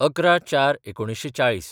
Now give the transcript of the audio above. ११/०४/४०